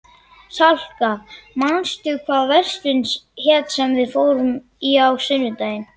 Salka, manstu hvað verslunin hét sem við fórum í á sunnudaginn?